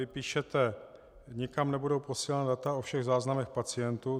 Vy píšete: Nikam nebudou posílána data o všech záznamech pacientů.